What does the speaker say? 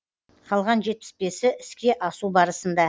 қалған жетпіс бесі іске асу барысында